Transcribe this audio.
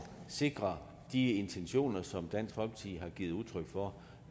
sikre de intentioner som dansk folkeparti har givet udtryk for